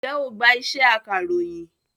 Ǹjẹ́ o gbá iṣẹ́ akàròyìn?